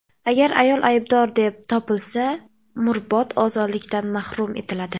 Agar ayol aybdor deb topilsa, umrbod ozodlikdan mahrum etiladi.